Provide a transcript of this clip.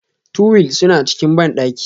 Tuwil suna cikin bandaki.